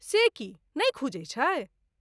से की? नहि खुजै छै?